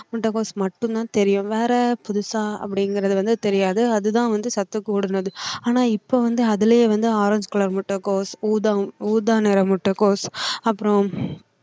முட்டைகோஸ் மட்டும் தான் தெரியும் வேற புதுசா அப்படிங்கறது வந்து தெரியாது அதுதான் வந்து சத்து கூடுனது ஆனா இப்போ வந்து அதுலயே வந்து ஆரஞ்சு color முட்டைகோஸ் ஊதா நிற முட்டைகோஸ் அப்புறோம்